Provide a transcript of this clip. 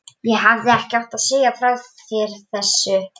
Ég hefði ekki átt að segja þér frá þessu